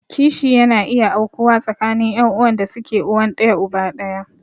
Kishi yana iya aukuwa tsakanin ƴan'uwan da suke uwan ɗaya uba ɗaya.